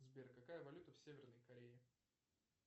сбер какая валюта в северной корее